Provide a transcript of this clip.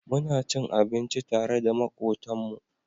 Muna cin abinci tare da makotan mu